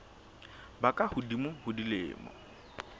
ba ka hodimo ho dilemo